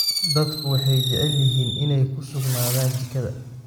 Dadku waxay jecel yihiin inay ku sugnaadaan jikada.